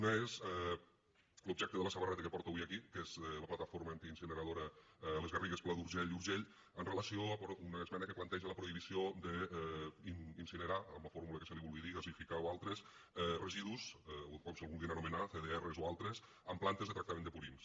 una és l’objecte de la samarreta que porto avui aquí que és la plataforma antiincineradora les garrigues pla d’urgell i urgell amb relació a una esmena que planteja la prohibició d’incinerar amb la fórmula que se’n vulgui dir gasificar o altres residus o com se vulguin anomenar cdr o altres en plantes de tractament de purins